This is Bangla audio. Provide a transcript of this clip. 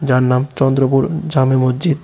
যার নাম চন্দ্রবোরো জামে মজজিদ ।